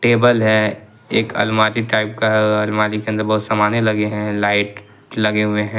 Table है एक अलमारी टाइप का अलमारी के अंदर बहुत समाने लगे हैं लाइट लगे हुए हैं।